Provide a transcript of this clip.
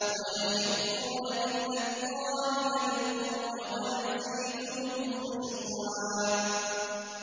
وَيَخِرُّونَ لِلْأَذْقَانِ يَبْكُونَ وَيَزِيدُهُمْ خُشُوعًا ۩